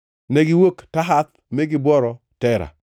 Negiwuok Tahath mi gibworo Tera.